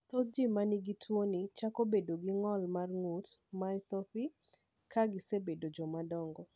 Thoth ji ma nigi tuwoni chako bedo gi ng’ol mar ng’ut (myopathy) ka gisebedo jomadongo.